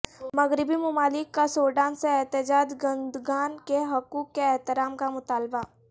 مغربی ممالک کا سوڈان سے احتجاج کنندگان کے حقوق کے احترام کا مطالبہ